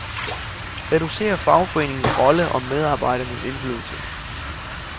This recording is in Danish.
Reducer fagforeningernes rolle og medarbejdernes indflydelse.